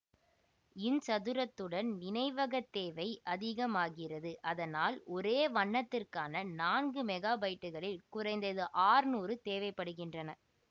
இன் சதுரத்துடன் நினைவகத் தேவை அதிகமாகிறது அதனால் ஒரே வண்ணத்திற்கான நான்கு மெகாபைட்டுகளில் குறைந்தது அற்நூறு தேவை படுகின்றன